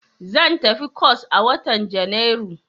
Zan tafi kwas a watan Janairu.